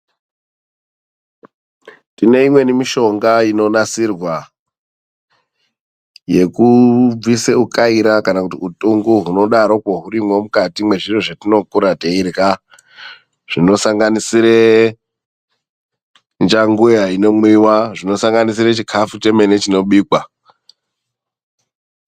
Tine imweni mishonga, inonasirwa yekubvisa ukaira kana kuti utungu. Hunodarokwo hurimwo mukati mwezviro zvetinokura teirya. Zvinosanganisire njanguya inomwiwa, zvinosanganisira chikafu chemene chinobikwa.